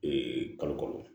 kalo kɔnɔ